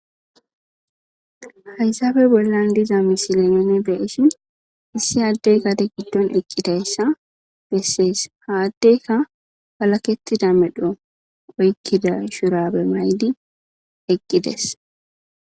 Hayissappe bollanni diza missile nuu be'ishshinn issi adeyi gaade giddonni eqidayissa besses.haa adeyikka walakettida medhdho oyikkida shurabbe mayidinne eqidess.